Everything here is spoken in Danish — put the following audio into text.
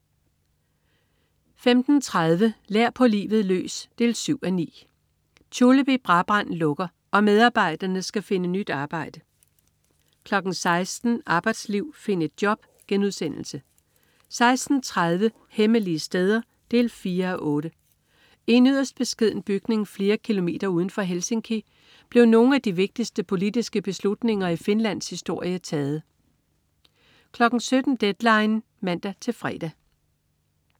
15.30 Lær på livet løs 7:9. Tulip i Brabrand lukker og medarbejderne skal finde nyt arbejde 16.00 Arbejdsliv, find et job* 16.30 Hemmelige steder 4:8. I en yderst beskeden bygning flere km uden for Helsinki blev nogle af de vigtigste politiske beslutninger i Finlands historie taget 17.00 Deadline 17.00 (man-fre)